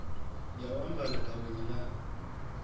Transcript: ya u ambara gaweni ḽa